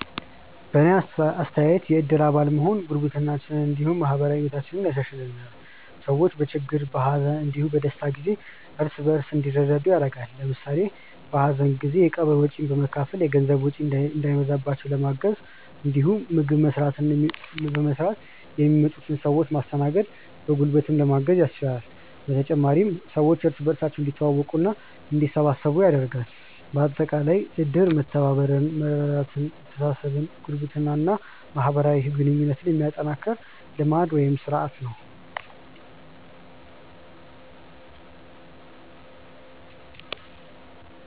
በእኔ አስተያየት የእድር አባል መሆን ጉርብትናችንን እንዲሁም ማህበራዊ ህይወታችንን ያሻሻሽልልናል። ሰዎች በችግር፣ በሀዘን እንዲሁም በደስታ ጊዜ እርስ በእርስ እንዲረዳዱ ያደርጋል። ለምሳሌ በሀዘን ጊዜ የቀብር ወጪን በመካፈል የገንዘብ ወጪ እንዳይበዛባቸው ለማገዝ እንዲሁም ምግብ በመስራትና የሚመጡትን ሰዎች በማስተናገድ በጉልበትም ለማገዝ ያስችላል። በተጨማሪም ሰዎች እርስ በእርስ እንዲተዋወቁና እንዲተሳሰቡ ያደርጋል። በአጠቃላይ እድር መተባበርን፣ መረዳዳትን፣ መተሳሰብን፣ ጉርብትናን እና ማህበራዊ ግንኙነትን የሚያጠናክር ልማድ (ስርአት) ነው።